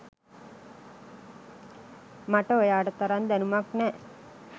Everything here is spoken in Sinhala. මට ඔයාට තරම් දැනුමක් නෑ.